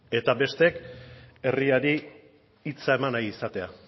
eta besteak herriari hitza eman nahi izatea